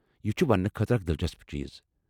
یہ چھٗ ونٛنہٕ خٲطرٕ اکھ دلچسپ چیٖز۔